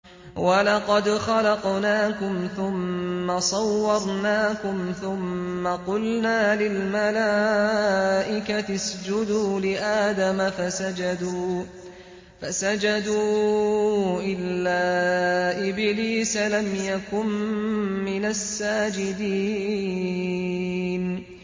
وَلَقَدْ خَلَقْنَاكُمْ ثُمَّ صَوَّرْنَاكُمْ ثُمَّ قُلْنَا لِلْمَلَائِكَةِ اسْجُدُوا لِآدَمَ فَسَجَدُوا إِلَّا إِبْلِيسَ لَمْ يَكُن مِّنَ السَّاجِدِينَ